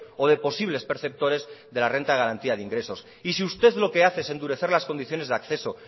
o de posibles perceptores de la renta de garantía de ingresos y si usted lo que hace es endurecer las condiciones de acceso